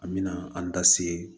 An mɛna an da se